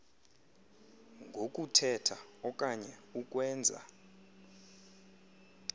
ngokuthetha okanye ukwenza